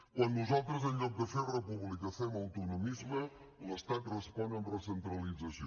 quan nosaltres en lloc de fer república fem autonomisme l’estat respon amb recentralització